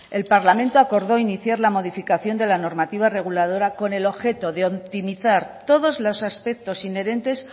el parlamento acordó iniciar la modificación de la normativa reguladora con el objeto de optimizar todos los aspectos inherentes